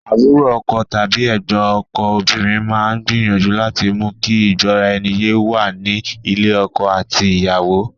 Àbúrò ọkọ tàbí ẹ̀gbọ́n ọkọ obìnrin máa ń gbìyànju láti mú kí ìgbóraẹniyé wà ní ilé ọkọ àti ìyàwó.